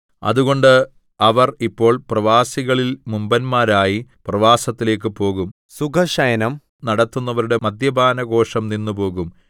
അതുകൊണ്ട് അവർ ഇപ്പോൾ പ്രവാസികളിൽ മുമ്പന്മാരായി പ്രവാസത്തിലേക്ക് പോകും സുഖശയനം നടത്തുന്നവരുടെ മദ്യപാനഘോഷം നിന്നുപോകും